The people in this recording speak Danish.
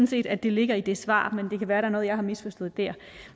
set at det ligger i det svar men det kan være noget jeg har misforstået